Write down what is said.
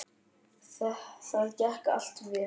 Það gekk allt vel.